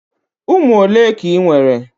Ụmụ ole ka ị nwere?